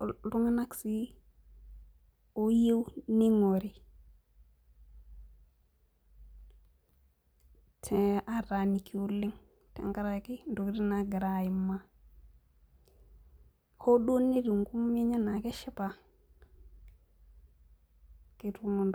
iltung'anak sii oyieu ning'ori , ataaniki oleng' tengaraki intokitin naagira aimaa hoonetiu inkomomi enye enaa keshipa